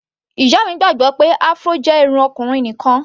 Ìyá mi gbàgbọ́ pé Afro jẹ́ irun ọkùnrin nìkan.